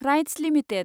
rights limited